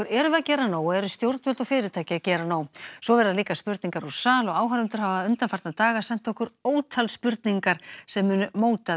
erum við að gera nóg og eru stjórnvöld og fyrirtæki að gera nóg svo verða líka spurningar úr sal og áhorfendur hafa undanfarna daga sent okkur ótal spurningar sem munu móta